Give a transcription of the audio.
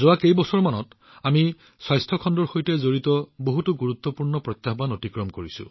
যোৱা কেইবছৰমানত আমি স্বাস্থ্য খণ্ডৰ সৈতে সম্পৰ্কিত বহুতো গুৰুত্বপূৰ্ণ প্ৰত্যাহ্বান অতিক্ৰম কৰিছো